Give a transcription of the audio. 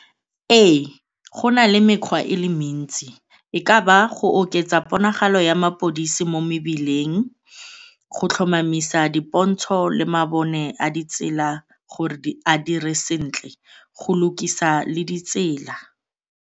Ee, go na le mekgwa e le mentsi, e ka ba go oketsa ponagalo ya mapodisi mo mebileng, go tlhomamisa dipontsho le mabone a ditsela gore di a dire sentle, go lukisa le ditsela.